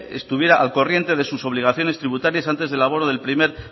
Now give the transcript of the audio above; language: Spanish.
estuviera al corriente de sus obligaciones tributarias antes del abono del primer